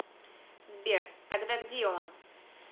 сбер тогда где он